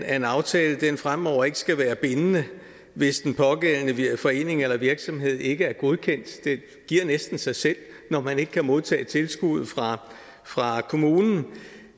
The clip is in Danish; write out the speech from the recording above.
at en aftale fremover ikke skal være bindende hvis den pågældende forening eller virksomhed ikke er godkendt det giver næsten sig selv når man ikke kan modtage tilskuddet fra kommunen